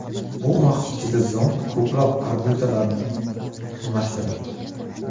Bu vaqt ichida zond ko‘plab orbitalarni almashtiradi.